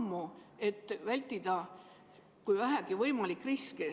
Ikka selleks, et vältida riski, kui vähegi võimalik.